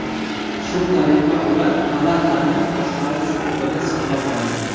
Shu tariqa, ular palatani boshqarish huquqini saqlab qoladi.